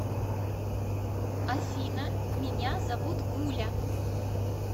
афина меня зовут гуля